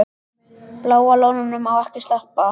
Bláa lóninu má ekki sleppa.